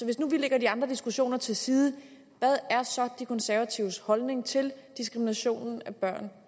hvis nu vi lægger de andre diskussioner til side hvad er så de konservatives holdning til diskriminationen af børn